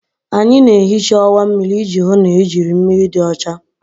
Anyị na-ehicha ọwa mmiri iji hụ na ejiri mmiri dị ọcha.